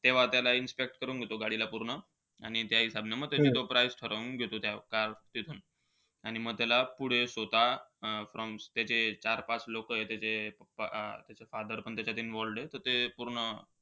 तेव्हा त्याला inspect कारण घेतो गाडीला पूर्ण. आणि त्या हिसाबने म त्याची तो price ठरवून घेतो, त्या car तिथून. आणि म त्याला पुढे स्वतः अं त्याचे चार-पाच लोकय. त्याचे pappa त्याचे अं father पण त्याच्यात involved आहे. ते पूर्ण,